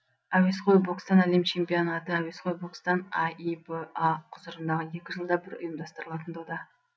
әуесқой бокстан әлем чемпионаты әуесқой бокстан аиба құзырындағы екі жылда бір ұйымдастырылатын дода